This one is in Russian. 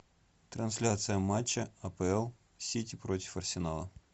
трансляция матча апл сити против арсенала